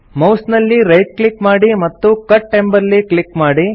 mouse ನಲ್ಲಿ right click ಮಾಡಿ ಮತ್ತು ಕಟ್ ಎಂಬಲ್ಲಿ ಕ್ಲಿಕ್ ಮಾಡಿ